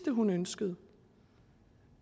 hun ønskede